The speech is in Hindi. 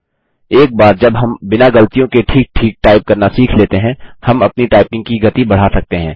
एक बार जब हम बिना गलतियों के ठीक ठीक टाइप करना सीख लेते हैं हम अपनी टाइपिंग की गति बढ़ा सकते हैं